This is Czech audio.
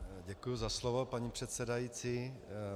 Děkuji za slovo, paní předsedající.